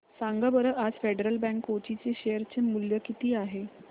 सांगा बरं आज फेडरल बँक कोची चे शेअर चे मूल्य किती आहे